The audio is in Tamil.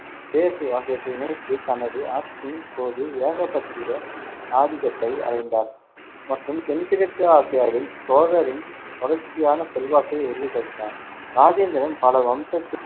பேகு ஆகியவற்றை இணைத்து, தனது ஆட்சியின் போது ஏகபத்திய ஆதிக்கத்தை அடைந்தார் மற்றும் தென்கிழக்கு ஆசியாவில் சோழரின் தொடர்ச்சியான செல்வாக்கை உறுதிப்படுத்தினார். ராஜேந்திரன் பல வம்சத்